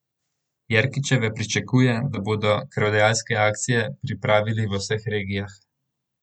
Jerkičeva pričakuje, da bodo krvodajalske akcije pripravili v vseh regijah.